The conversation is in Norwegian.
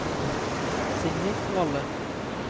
Signy Valle